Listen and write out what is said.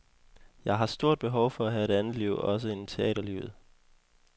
Jeg har stort behov for at have et andet liv også end teaterlivet.